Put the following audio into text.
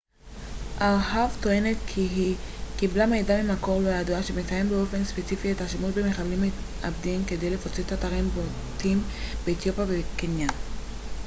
ארה ב טוענת כי היא קיבלה מידע ממקור לא ידוע שמציין באופן ספציפי את השימוש במחבלים מתאבדים כדי לפוצץ אתרים בולטים באתיופיה וקניה